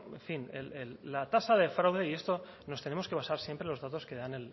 en fin la tasa de fraude y esto nos tenemos que basar siempre en los datos que dan